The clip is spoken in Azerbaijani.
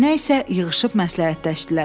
Nə isə yığışıb məsləhətləşdilər.